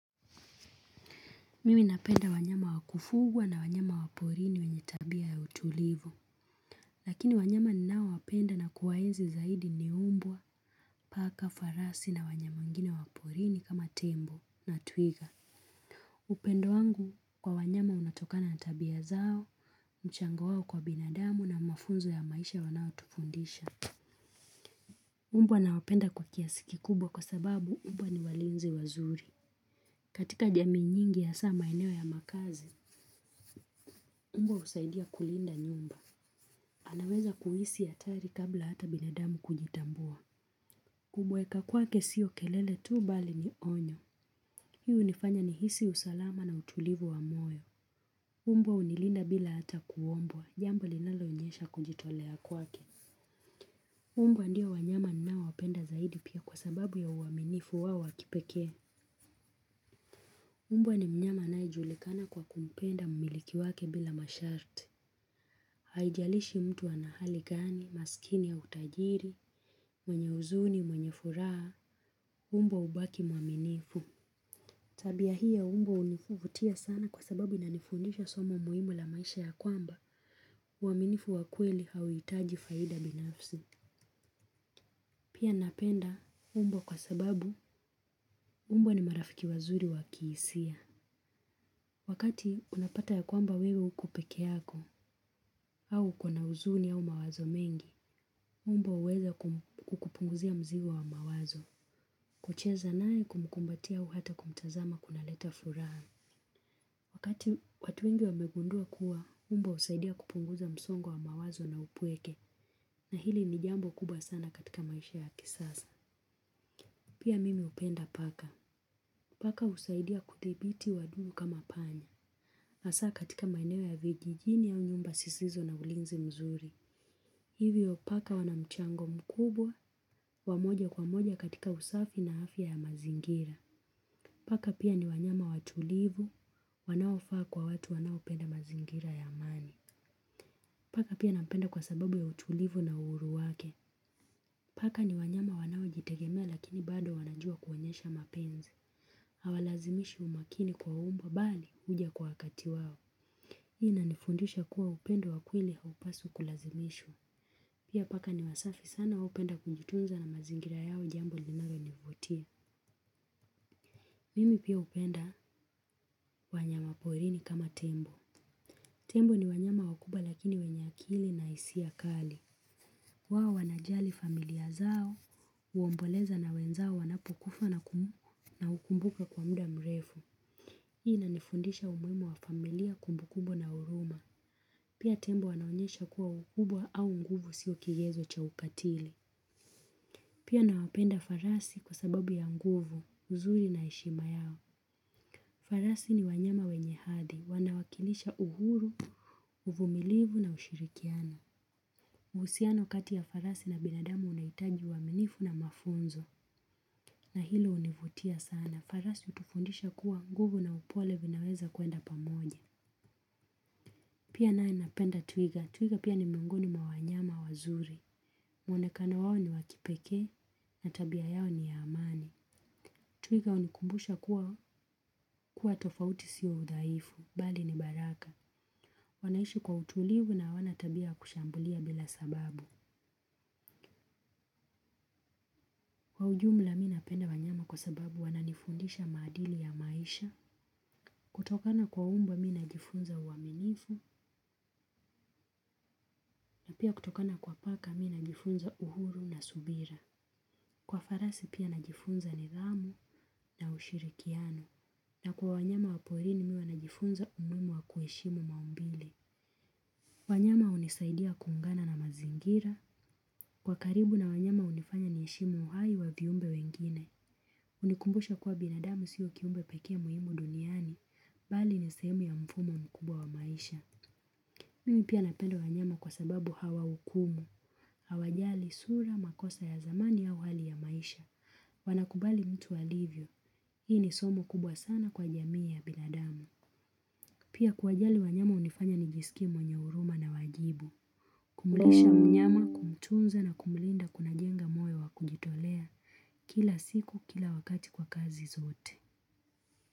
Mimi napenda wanyama wa kufugwa na wanyama wa porini wenye tabia ya utulivu. Lakini wanyama ninaowapenda na kuwaenzi zaidi ni mbwa, paka, farasi na wanyama wengine waporini kama tembo na twiga. Upendo wangu kwa wanyama unatokana na tabia zao, mchango wao kwa binadamu na mafunzo ya maisha wanaotufundisha. Mbwa nawapenda kwa kiasi kikubwa kwa sababu mbwa ni walinzi wazuri. Katika jamii nyingi hasaa maeneo ya makazi, mbwa husaidia kulinda nyumba. Anaweza kuhisi hatari kabla hata binadamu kujitambua. Kubweka kwake sio kelele tu bali ni onyo. Hii hunifanya nihisi usalama na utulivu wa moyo. Mbwa hunilinda bila hata kuombwa, jambo linaloonyesha kujitolea kwake. Mbwa ndio wanyama ninaowapenda zaidi pia kwa sababu ya uaminifu wao wa kipekee. Mbwa ni mnyama anayejulikana kwa kumpenda mmiliki wake bila masharti. Haijalishi mtu ana hali gani, masikini au utajiri, mwenye huzuni, mwenye furaha, mbwa hubaki mwaminifu. Tabia hii ya mbwa hunivutia sana kwa sababu inanifundisha somo muhimu la maisha ya kwamba mwaminifu wa kweli hauhitaji faida binafsi. Pia napenda mbwa kwa sababu mbwa ni marafiki wazuri wakihisia. Wakati unapata ya kwamba wewe uko peke yako au uko na huzuni au mawazo mengi mbwa huweza kukupunguzia mzigo wa mawazo. Kucheza naye kumkumbatia au hata kumtazama kunaleta furaha. Wakati watu wengi wamegundua kuwa, mbwa husaidia kupunguza msongo wa mawazo na upweke. Na hili ni jambo kubwa sana katika maisha ya kisasa. Pia mimi upenda paka. Paka husaidia kuthibiti wadudu kama panya. Hasaa katika maeneo ya vijijini au nyumba zisizo na ulinzi mzuri. Hivyo paka wanamchango mkubwa, wa moja kwa moja katika usafi na afya ya mazingira. Paka pia ni wanyama watulivu, wanaofaa kwa watu wanaopenda mazingira ya amani. Paka pia napenda kwa sababu ya utulivu na uhuru wake. Paka ni wanyama wanaojitegemea lakini bado wanajua kuonyesha mapenzi. Hawalazimishi umakini kwa mbwa bali huja kwa wakati wao. Hii inanifundisha kuwa upendo wa kewili haupaswi kulazimishwa. Pia paka ni wasafi sana hupenda kujitunza na mazingira yao jambo linalonivutia. Mimi pia hupenda wanyama porini kama tembo. Tembo ni wanyama wakubwa lakini wenye akili na hisia kali. Kwao wanajali familia zao, huomboleza na wenzao wanapokufa na kumu na hukumbukwa kwa muda mrefu. Hii inanifundisha umuhimu wa familia kumbukumbu na huruma. Pia tembo wanaonyesha kuwa ukubwa au nguvu sio kigezo cha ukatili. Pia nawapenda farasi kwa sababu ya nguvu, uzuri na heshima yao. Farasi ni wanyama wenye ahadi. Wanawakilisha uhuru, uvumilivu na ushirikiano. Uhusiano kati ya farasi na binadamu unahitaji uaminifu na mafunzo. Na hilo univutia sana. Farasi hutufundisha kuwa nguvu na upole vinaweza kuenda pamoja. Pia naye napenda twiga. Twiga pia ni miongoni mwa wanyama wazuri. Mwonekana wao ni wa kipekee na tabia yao ni ya amani. Twiga hunikumbusha kuwa tofauti sio udhaifu bali ni baraka. Wanaishi kwa utulivu na hawana tabia ya kushambulia bila sababu. Kwa ujumla mi napenda wanyama kwa sababu wananifundisha maadili ya maisha, kutokana kwa mbwa mi najifunza uaminifu, na pia kutokana kwa paka mi najifunza uhuru na subira. Kwa farasi pia najifunza nidhamu na ushirikiano, na kwa wanyama wa porini mi huwa najifunza umuhimu wa kuheshimu maumbile. Wanyama hunisaidia kuungana na mazingira. Kwa karibu na wanyama hunifanya niheshimu uhai wa viumbe wengine. Hunikumbusha kuwa binadamu siyo kiumbe pekee muhimu duniani. Bali ni sehemu ya mfumo mkubwa wa maisha. Mimi pia napenda wanyama kwa sababu hawahukumu. Hawajali sura, makosa ya zamani au hali ya maisha. Wanakubali mtu alivyo. Hii ni somo kubwa sana kwa jamii ya binadamu. Pia kuwajali wanyama hunifanya nijisikie mwenye huruma na wajibu. Kumlisha mnyama, kumtunza na kumlinda kunajenga moyo wa kujitolea kila siku kila wakati kwa kazi zote.